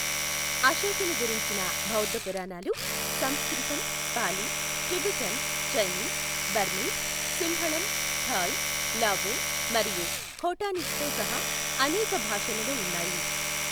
అశోకుని గురించిన బౌద్ధ పురాణాలు సంస్కృతం, పాలీ, టిబెటన్, చైనీస్, బర్మీస్, సింహళం, థాయ్, లావో మరియు ఖోటానీస్తో సహా అనేక భాషలలో ఉన్నాయి.